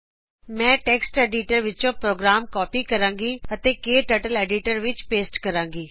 ਮੈਂ text editor ਵਿੱਚੋ program copy ਕਰੂੰਗੀ ਤੇ ਉਸਨੂੰ ਕਟਰਟਲ ਐਡੀਟਰ ਵਿੱਚ ਪੇਸਟ ਕਰੂੰਗੀ